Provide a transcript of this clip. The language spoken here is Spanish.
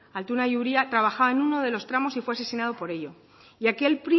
altuna y uria trabajaba en uno de los tramos y fue asesinado por ello y aquel